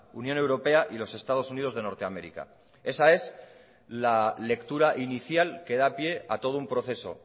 unión europea y los estados unidos de norte américa esa es la lectura inicial que da pie a todo un proceso